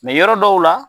yɔrɔ dɔw la